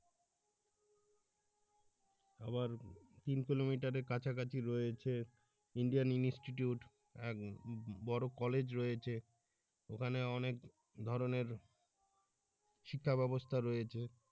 আবার তিন কিলোমিটারের কাছাকাছি রয়েছে Indian institute আর বড় কলেজ রয়েছে ওখানে অনেক ধরনের শিক্ষা ব্যাবস্থা রয়েছে